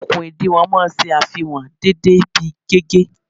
Okùn ìdiwọ̀n máa ń ṣe àfihàn dédé ibi gígé